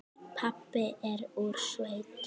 Pabbi er úr sveit.